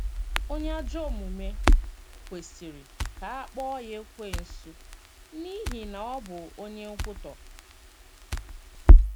“ Onye ajọ omume ” kwesịrị ka a kpọọ ya Ekwensu, n’ihi na ọ bụ onye nkwutọ.